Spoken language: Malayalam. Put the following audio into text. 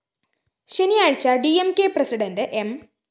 ശനിയാഴ്ച്ച ഡി എം കെ പ്രസിഡന്റ്‌ എം